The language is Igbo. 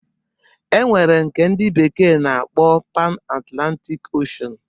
E nwere nke ndi bekee na-akpọ Pan Atlantik Oshen